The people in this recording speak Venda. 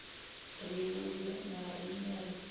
ri vhudze na riṋe ri